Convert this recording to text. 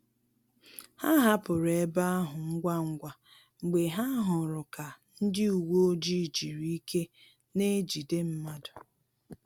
Ha hapụrụ ebe ahụ ngwa ngwa mgbe ha hụrụ ka ndị uweojii jiri ike n'ejide mmadụ